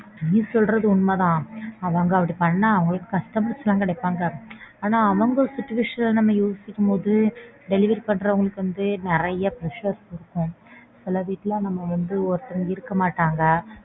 நீ சொல்றது உண்மை தான். அவங்க அப்படி பண்ணா அவங்களுக்கு customers லாம் கிடைப்பாங்க. ஆனா அவங்க situation அ யோசிக்கும்போது delivery பண்றவங்களுக்கு வந்து நறைய pressure இருக்கும். சிலர் வீட்ல நம்ம வந்து ஒருத்தரும் இருக்க மாட்டாங்க